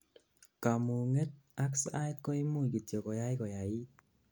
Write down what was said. kamunget ak sait koimuch kityok koyai koyait